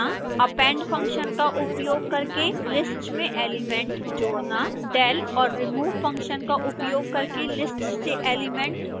append function का उपयोग करके list में एलिमेंट जोड़ना